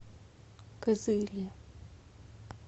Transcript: кызыле